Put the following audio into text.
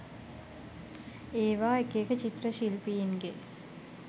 ඒවා එක එක චිත්‍ර ශිල්පීන්ගේ